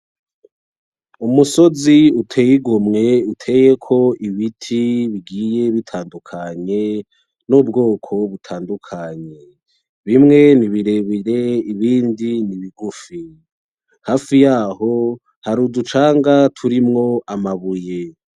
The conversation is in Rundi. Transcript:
Umusozi uteye igomwe uteyeko ibiti bigiy bitandukanye n'ubwoko butandukanye, bimwe ni birebire ibindi ni bigufi. Hafi yaho hari uducanga turimwo amabuye.